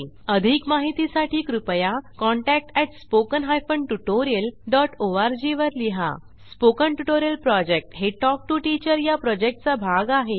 अधिक माहितीसाठी कृपया contact at spoken hyphen tutorial dot org वर लिहा स्पोकन ट्युटोरियल प्रॉजेक्ट हे टॉक टू टीचर या प्रॉजेक्टचा भाग आहे